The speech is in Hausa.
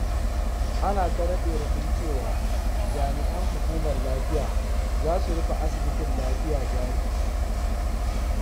Ana ta raɗe-raɗin cewa jami'an Hukumar Lafiya za su rufe asibitin Lafiya Jari.